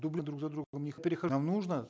дубли друг за другом нам нужно